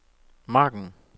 margen